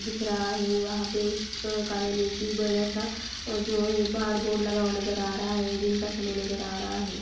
दिख रहा है। वंहा पे उस कार्यलय कि बड़ा सा जो येह बोर्ड लगा हुआ नजर आहै रहा है। दिन का समय नजर आ रहा है।